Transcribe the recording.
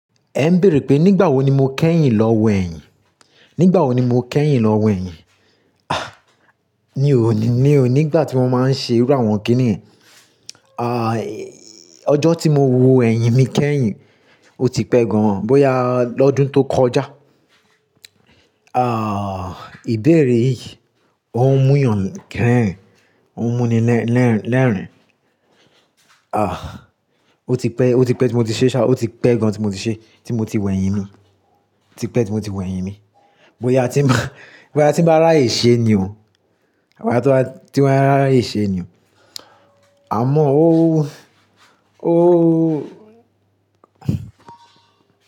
Ẹ ń béèrè pé nígbà wo ni mo kẹ́yìn lọ wẹ̀yìn? Nígbà wo ni mo kẹ́yìn lọ wẹ̀yìn? Ah! Mi ò ní, mi ò ní, nígbà tí wọ́n máa ń ṣe iru awon kíni yen Ah, ọjọ́ tí mo wo ẹ̀yìn mi kẹ́yìn, ó ti pẹ́ gan-an, bóyá lọ́dún tó kọjá. Ah, ìbéèrè yìí ó ń mú eyan ko rerin ó ń mú ni lẹ́-lẹ́-lẹ́rìn-ín. Ah, ó ti pẹ́, ó ti pẹ́ tí mo ti ṣe sa ó ti pẹ́ gan tí mo ti ṣe, tí mo ti wẹ̀yìn mi, tí pẹ́ tí mo ti wẹ̀yìn mi. Bóyá tí bóyá tí wọ́n bá rà ẹ́ ṣe ni o, bóyá tí wọ́n bá, tí wọ́n bá rà ẹ́ ṣe ni o. Àmọ́ ó, ó.